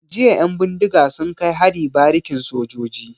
Jiya 'yan bindiga sun kai hari barikin sojoji.